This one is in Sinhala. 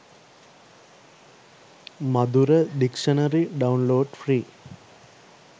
madura dictionary download free